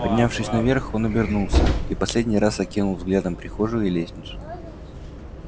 поднявшись наверх он обернулся и в последний раз окинул взглядом прихожую и лестницу